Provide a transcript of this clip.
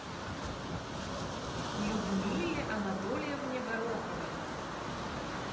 людмиле анатольевне гороховой